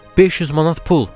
500 manat pul.